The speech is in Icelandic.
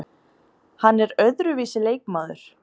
Hann er öðruvísi leikmaður.